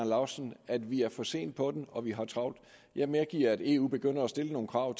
laustsen at vi er for sent på den og at vi har travlt jeg medgiver at eu begynder at stille nogle krav